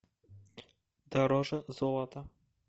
дороже золота